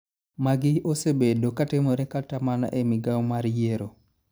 Magi osebedo katimore kata mana e migao mar yiero .